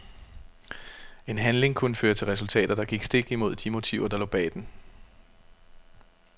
En handling kunne føre til resultater, der gik stik imod de motiver der lå bag den.